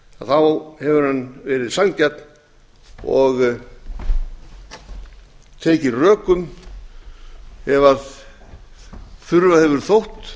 þá hefur hann verið sanngjarn og tekið rökum ef þurfa hefur þótt